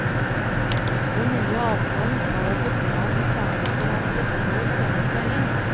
Den nye avtalen skal etter planen ferdigforhandles før sommerferien.